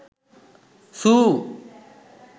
zoo